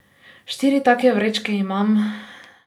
Štiri take vrečke imam.